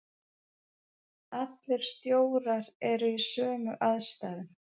Allir stjórar eru í sömu aðstæðunum.